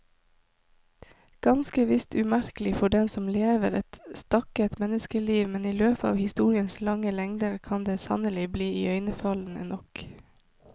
Ganske visst umerkelig for den som lever et stakket menneskeliv, men i løpet av historiens lange lengder kan det sannelig bli iøynefallende nok.